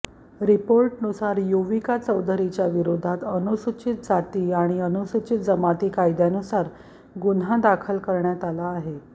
रिपोर्टनुसार युविका चौधरीच्या विरोधात अनुसूचित जाती आणि अनुसूचित जमाती कायद्यानुसार गुन्हा दाखल करण्यात आला आहे